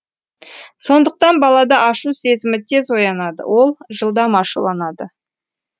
сондықтан балада ашу сезімі тез оянады ол жылдам ашуланады